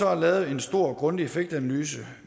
er lavet en stor og grundig effektanalyse